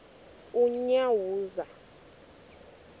unyawuza